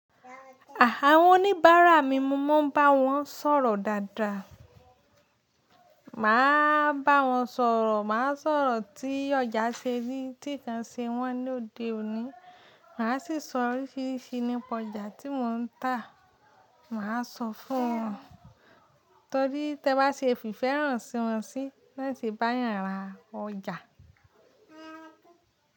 Àwọ́n oníbàárà mi, mo máa ń bá wọn sọ̀rọ̀ dáadáa. Màá bá wọn sọ̀rọ̀, màá sọ̀rọ̀ tí ọjà ṣe rí, tí ǹkan ṣe wọ́n ní òde òní. Màá sì sọ oríṣiríṣi nípa ọjà tí mò ń tà. Màá sọ fún wọn torí tí ẹ bá ṣe fi ìfẹ́ hàn sí wọn sì, nibwọ́n se bá eeyàn ra ọjà.